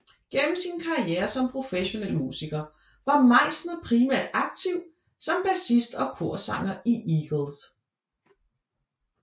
Gennem sin karriere som professionel musiker var Meisner primært aktiv som bassist og korsanger i Eagles